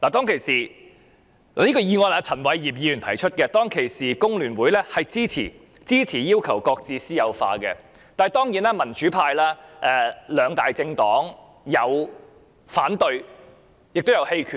這項議案由前議員陳偉業提出，香港工會聯合會當時表示支持要求擱置私有化，而民主派兩大政黨的議員有人反對，亦有人棄權。